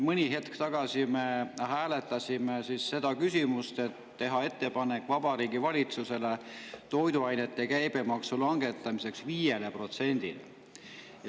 Mõni hetk tagasi me hääletasime seda, et teha ettepanek Vabariigi Valitsusele toiduainete käibemaksu langetamiseks 5%‑le.